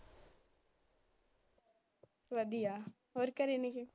ਵਧੀਆਂ ਹੋਰ ਘਰੇ,